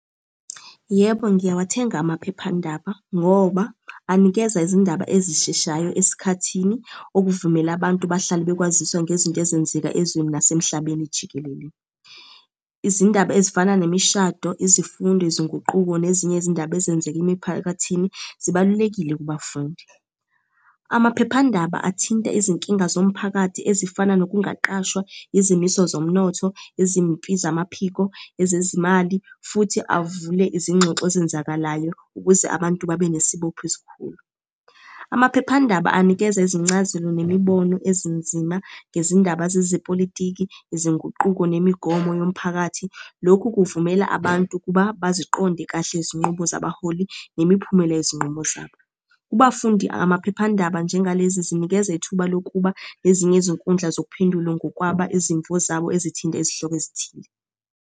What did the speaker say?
Yebo, ngiyawathenga amaphephandaba ngoba anikeza izindaba ezisheshayo esikhathini okuvumela abantu bahlale bekwaziswa ngezinto ezenzeka ezweni nasemhlabeni jikelele. Izindaba ezifana nemishado, izifundo, izinguquko nezinye izindaba ezenzeka emiphakathini zibalulekile kubafundi. Amaphephandaba athinta izinkinga zomphakathi ezifana nokungaqashwa, izimiso zomnotho, izimpi zamaphiko, ezezimali, futhi avule izingxoxo ezenzakalayo ukuze abantu babe nesibopho esikhulu. Amaphephandaba anikeza izincazelo nemibono ezinzima ngezindaba zezepolitiki, izinguquko, nemigomo yomphakathi. Lokhu kuvumela abantu ukuba baziqonde kahle izinqubo zabaholi nemiphumela yezinqumo zabo. Kubafundi, amaphephandaba njengalezi zinikeza ithuba lokuba nezinye izinkundla zokuphendula ngokwaba izimvo zabo ezithinta izihloko ezithile.